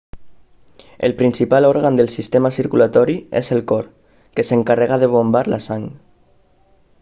el principal òrgan del sistema circulatori és el cor que s'encarrega de bombar la sang